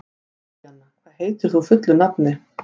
Júlíanna, hvað heitir þú fullu nafni?